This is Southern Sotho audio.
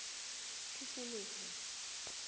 tikoloho